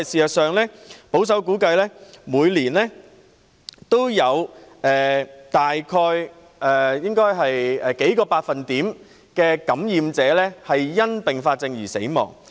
其實，保守估計，每年都有約數個百分點的感染者因併發症死亡。